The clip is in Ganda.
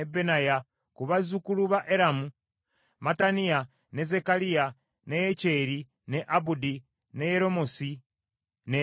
Ku bazzukulu ba Eramu: Mattaniya, ne Zekkaliya, ne Yekyeri, ne Abudi, ne Yeremoosi ne Eriya.